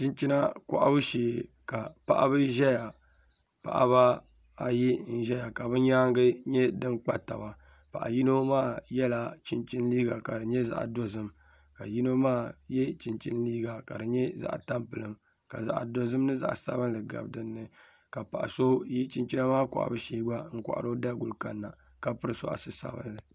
chinchina kɔhibu shee ka paɣaba ʒeya paɣaba ayi n-ʒeya ka bɛ nyaanga nyɛ din kpa-taba paɣa yino maa yɛla chinchini liiga ka di nyɛ zaɣ-idozim ka yino maa ye chinchini liiga ka di nyɛ zaɣ-itampilim ka zaɣ-idozim ni zaɣ-isabinli gabi din ni ka paɣ' so yi chinchina maa kɔhibu shee gba n-kɔhiri o daguli kani na ka piri sɔɣisi sabinli